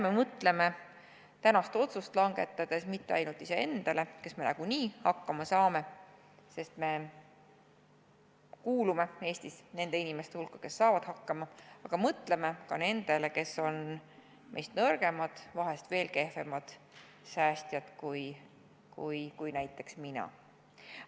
Ärme mõtleme tänast otsust langetades mitte ainult iseendale, kes me nagunii hakkama saame, sest me kuulume Eestis nende inimeste hulka, kes saavad hakkama, vaid mõtleme ka nendele, kes on meist nõrgemad, vahest veel kehvemad säästjad kui näiteks mina.